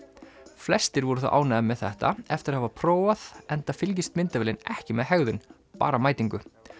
flestir voru þó ánægðir með þetta eftir að hafa prófað enda fylgist myndavélin ekki með hegðun bara mætingu